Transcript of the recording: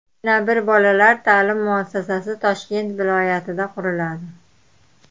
Yana bir bolalar ta’lim muassasasi Toshkent viloyatida quriladi.